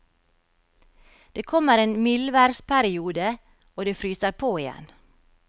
Det kommer en mildværsperiode, og det fryser på igjen.